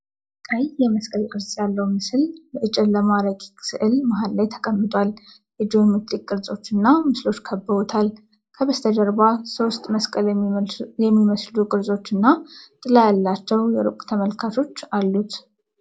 ቀይ የመስቀል ቅርጽ ያለው ምስል የጨለማ ረቂቅ ሥዕል መሃል ላይ ተቀምጧል። የጂኦሜትሪክ ቅርጾች እና ምስሎች ከበዉታል። ከበስተጀርባ ሶስት መስቀል የሚመስሉ ቅርጾች እና ጥላ ያላቸው የሩቅ ተመልካቾች አሉት።